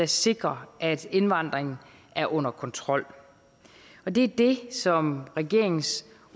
sikrer at indvandringen er under kontrol og det er det som regeringens